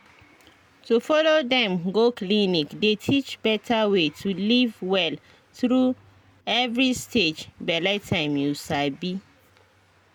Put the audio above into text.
to follow dem go clinic dey teach better way to live well through every stage bele time you sabi